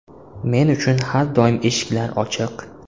Men uchun har doim eshiklar ochiq.